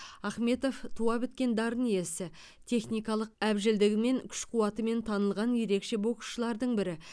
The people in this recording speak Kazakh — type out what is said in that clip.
ахмедов туа біткен дарын иесі техникалық әбжілдігімен күш қуатымен танылған ерекше боксшылардың бірі